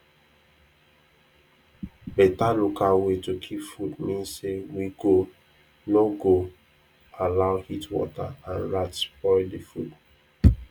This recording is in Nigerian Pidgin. better local way to keep food mean say we go no go allow heatwater and rats spoil the food